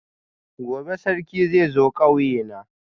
gobe Sarki zai zo kauyena